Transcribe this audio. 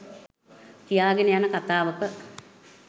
කියාගෙන යන කතාවක